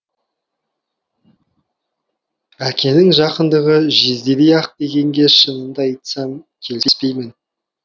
әкенің жақындығы жездедей ак дегенге шынымды айтсам келіспеймін